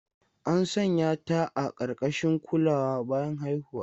An sanya ta a ƙarƙashin kulawa bayan haihuwa.